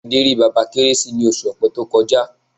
Adé rí Bàbá Kérésì ní oṣù Ọ̀pẹ tó kọjá.